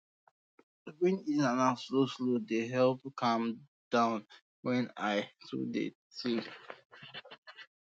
to breathe in and out slowslow dey help me calm down when i um dey too think